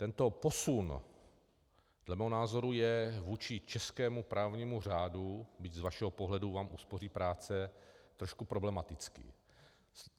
Tento posun dle mého názoru je vůči českému právnímu řádu, byť z vašeho pohledu vám uspoří práce, trošku problematický.